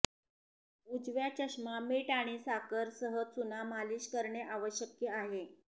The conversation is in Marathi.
उजव्या चष्मा मिंट आणि साखर सह चुना मालीश करणे आवश्यक आहे